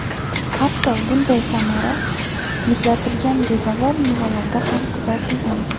Hatto, bunday samara muzlatilgan rezavor mevalarda ham kuzatilgan.